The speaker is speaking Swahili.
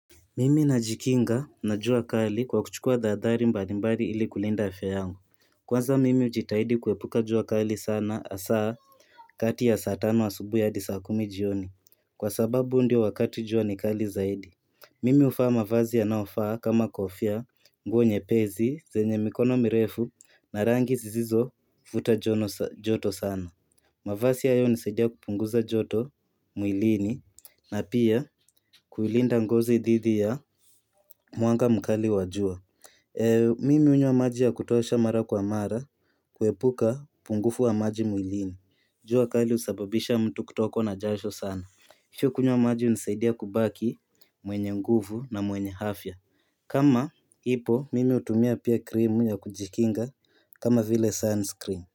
Mimi najikinga na jua kali kwa kuchukua dhadhari mbalimbali ili kulinda afya yangu. Kwanza mimi ujitahidi kuepuka jua kali sana hasa kati ya saa tano asubui hadi saa kumi jioni. Kwa sababu ndio wakati jua ni kali zaidi. Mimi ufaa mavazi yanaofaa kama kofia, nguo nyepezi, zenye mikono mirefu na rangi zizizo futajono joto sana. Mavasi hayo hunisaidia kupunguza joto mwilini na pia kuilinda ngozi dhidhi ya mwanga mkali wa jua Mimi hunywa maji ya kutosha mara kwa mara kuepuka upungufu wa maji mwilini jua kali husababisha mtu kutokwa na jasho sana kunywa maji hunisaidia kubaki mwenye nguvu na mwenye afya kama ipo mimi hutumia pia krimu ya kujikinga kama vile sunscreen.